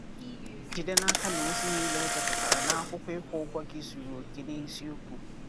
Jide naka na ozi niile e depụtara na akwụkwọ ịkwụ ụgwọ gị zuru oke na eziokwu.